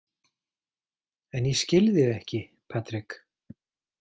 En ég skil þig ekki, Patrik.